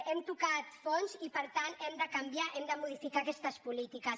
hem tocat fons i per tant hem de canviar hem de modificar aquestes polítiques